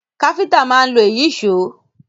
Káfíntà máa ń lo Ìyíṣòó